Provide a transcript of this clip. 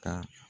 Ka